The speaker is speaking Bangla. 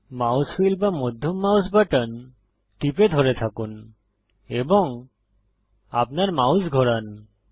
মাউস হুইল বা মধ্যম মাউস বাটন টিপে ধরে থাকুন এবং আপনার মাউস ঘোরান